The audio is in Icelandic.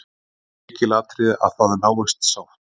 Lykilatriði að það náist sátt